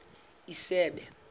isebe